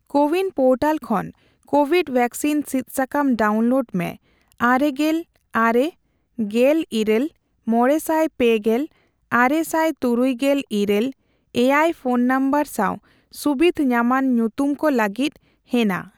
CoWIN portal ᱠᱷᱚᱱ COVID vaccine ᱥᱤᱫ ᱥᱟᱠᱟᱢ ᱰᱟᱣᱩᱱᱞᱳᱰ ᱢᱮ ᱟᱨᱮᱜᱮᱞ ᱟᱨᱮ, ᱜᱮᱞ ᱤᱨᱟᱹᱞ, ᱢᱚᱲᱮᱥᱟᱭ ᱯᱮ ᱜᱮᱞ ,ᱟᱨᱮᱥᱟᱭ ᱛᱩᱨᱩᱭᱜᱮᱞ ᱤᱨᱟᱹᱞ, ᱮᱭᱟᱭ ᱯᱷᱚᱱ ᱱᱚᱢᱵᱚᱨ ᱥᱟᱣ ᱥᱩᱵᱤᱫᱷ ᱧᱟᱢᱟᱱ ᱧᱩᱛᱩᱢ ᱠᱚ ᱞᱟᱹᱜᱤᱫ ᱦᱮᱱᱟ ᱾